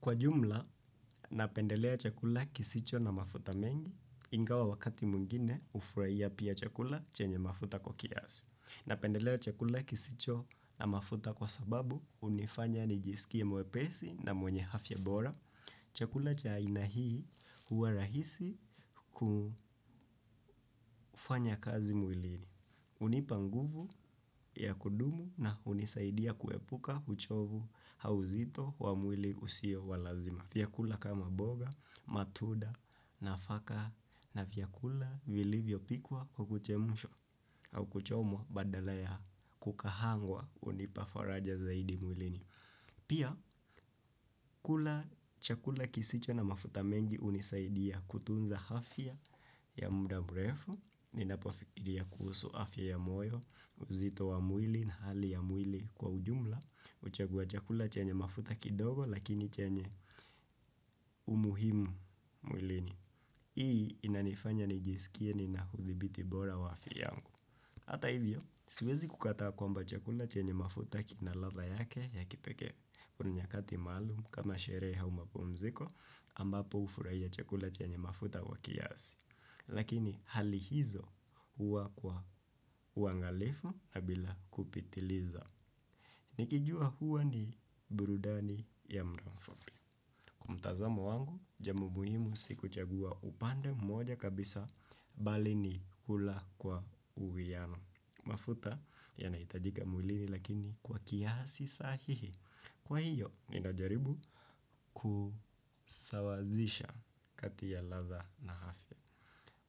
Kwa jumla, napendelea chakula kisicho na mafuta mengi ingawa wakati mwingine hufurahia pia chakula chenye mafuta kwa kiasi. Napendelea chakula kisicho na mafuta kwa sababu hunifanya nijisikie mwepesi na mwenye afya bora. Chakula cha aina hii huwa rahisi kufanya kazi mwilini. Unipa nguvu ya kudumu na hunisaidia kuepuka uchovu au uzito wa mwili usio walazima. Vyakula kama mboga, matunda, nafaka na vyakula vilivyo pikwa kwa kuchemshwa au kuchomwa badala ya kukaangwa hunipa faraja zaidi mwilini. Pia, kula chakula kisicho na mafuta mengi hunisaidia kutunza afya ya muda mrefu, nina pofikiria kuhusu afya ya moyo, uzito wa mwili na hali ya mwili kwa ujumla. Uchagua chakula chenye mafuta kidogo lakini chenye umuhimu mwilini. Hii inanifanya nijisikie nina uthibiti bora wa afya yangu ata hivyo, siwezi kukataa kwamba chakula chenye mafuta kinalatha yake ya kipekee. Kuna nyakati maalum kama sherehe au mapumziko ambapo hufurahia chakula chenye mafuta kwa kiasi. Lakini hali hizo huwa kwa uangalifu na bila kupitiliza. Nikijua huwa ni burudani ya mudamfupi. Kwa mtazamo wangu jambo muhimu sikuchagua upande mmoja kabisa bali ni kula kwa uwiano. Mafuta yanahitajika mwilini lakini kwa kiasi sahihi. Kwa hiyo ninajaribu kusawazisha kati ya latha na afya.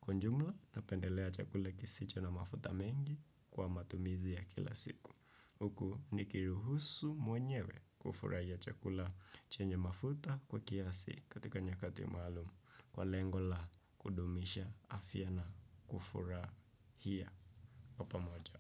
Kwa jumla, napendelea chakula kisicho na mafuta mengi kwa matumizi ya kila siku. Huku nikiruhusu mwenyewe kufurahia chakula chenye mafuta kwa kiasi katika nyakati maalum. Kwa lengo la kudumisha afya na kufurahia. Kwa pamoja.